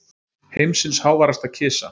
Heimsins háværasta kisa